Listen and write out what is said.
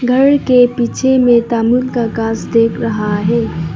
घर के पीछे में तामूर का घास दिख रहा है।